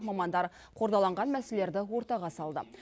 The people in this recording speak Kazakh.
мамандар қордаланған мәселелерді ортаға салды